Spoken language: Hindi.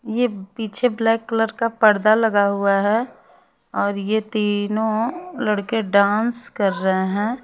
ये पीछे ब्लॅक कलर का पड़दा लगा हुआ हैं और ये तीनों लड़के डांस कर रहें हैं।